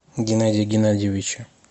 геннадия геннадьевича